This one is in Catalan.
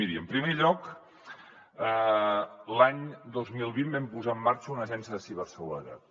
miri en primer lloc l’any dos mil vint vam posar en marxa una agència de ciberseguretat